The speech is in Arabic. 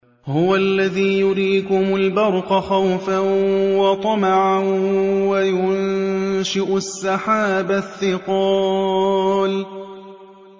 هُوَ الَّذِي يُرِيكُمُ الْبَرْقَ خَوْفًا وَطَمَعًا وَيُنشِئُ السَّحَابَ الثِّقَالَ